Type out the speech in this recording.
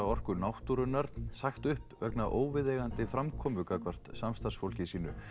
Orku náttúrunnar sagt upp vegna óviðeigandi framkomu gagnvart samstarfsfólki sínu